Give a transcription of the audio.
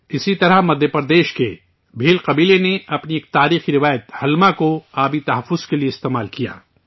اسی طرح مدھیہ پردیش کے بھیل قبیلہ نے اپنی ایک تاریخی روایت 'ہلما' کو پانی کے تحفظ کے لیے استعمال کیا